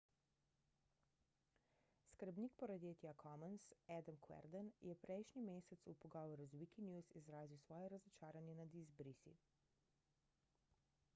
skrbnik projekta commons adam cuerden je prejšnji mesec v pogovoru z wikinews izrazil svoje razočaranje nad izbrisi